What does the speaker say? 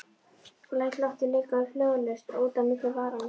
Læt loftið leka hljóðlaust út á milli varanna.